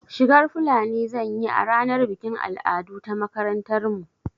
Shigar fulani zan yi a ranar bikin al'adu ta makarantar mu